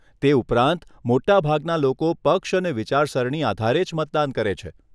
તે ઉપરાંત, મોટા ભાગના લોકો પક્ષ અને વિચારસરણી આધારે જ મતદાન કરે છે.